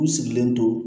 U sigilen to